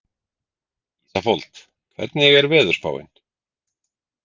Ísafold, hvernig er veðurspáin?